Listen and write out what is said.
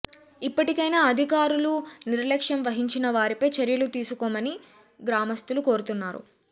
ఇప్పటికైనా అధికారులు నిర్లక్ష్యం వహించిన వారిపై చర్యలు తీసుకొని గ్రామస్తులు కోరుతున్నారు